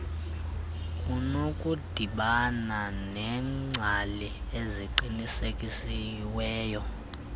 unokudibana neengcali eziqinisekisiweyo